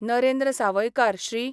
Narendra Sawaikar, Shri.